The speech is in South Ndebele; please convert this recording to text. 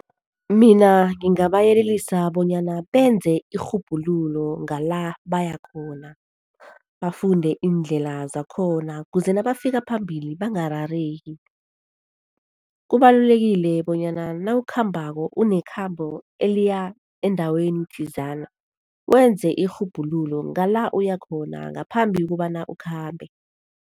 Mina ngingabayelelisa bonyana benze irhubhululo ngala bayakhona. Bafunde iindlela zakhona ukuze nabafika phambili bangarareki. Kubalulekile bonyana nawukhambako, unekhambo eliya endaweni thizana wenze irhubhululo ngala uyakhona ngaphambi kobana ukhambe.